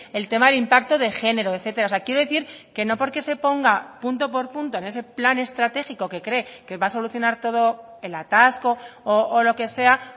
el tema de impacto de género etcétera quiero decir que no porque se ponga punto por punto en ese plan estratégico que cree que va a solucionar todo el atasco o lo que sea